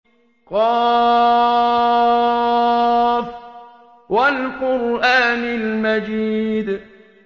ق ۚ وَالْقُرْآنِ الْمَجِيدِ